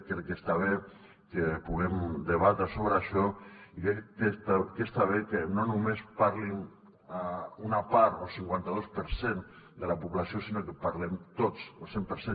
crec que està bé que puguem debatre sobre això i crec que està bé que no només en parli una part o el cinquanta dos per cent de la població sinó que en parlem tots el cent per cent